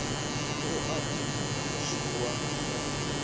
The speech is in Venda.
ṱo ḓa u dzhiwa sa